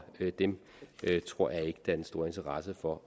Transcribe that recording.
dem tror jeg ikke den store interesse for